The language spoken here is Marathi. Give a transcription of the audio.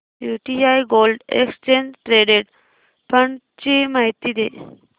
UTI gold exchange traded fund ची माहिती दे